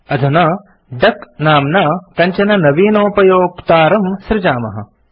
अधुना डक नाम्ना कञ्चन नवीनोपयोक्तारं सृजामः